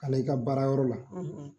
Hali i ka baara yɔrɔw la;